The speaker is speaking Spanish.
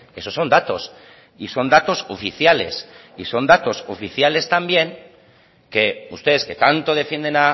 esos son datos y son datos oficiales y son datos oficiales también que ustedes que tanto defienden